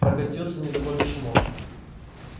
прокатился недовольный шумок